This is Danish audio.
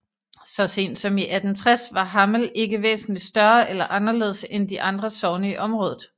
Så sent som i 1860 var Hammel ikke væsentligt større eller anderledes end de andre sogne i området